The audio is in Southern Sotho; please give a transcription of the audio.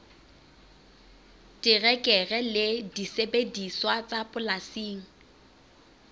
terekere le disebediswa tsa polasing